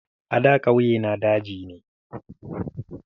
A da ƙauyena daji ne.